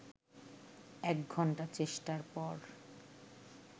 ১ ঘন্টা চেষ্টার পর